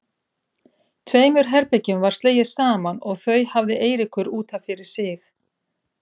Tveimur herbergjum var slegið saman og þau hafði Eiríkur út af fyrir sig.